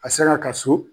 A sera ka so